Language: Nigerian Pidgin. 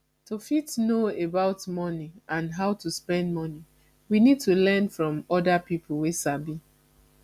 to fit know about money and how to spend money we need to learn from oda pipo wey sabi